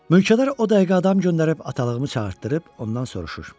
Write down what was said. Mülkədar o dəqiqə adam göndərib atalığımı çağıtdırıb ondan soruşur: